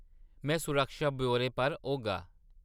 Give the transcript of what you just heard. में सुरक्षा ब्यौरे पर होगा।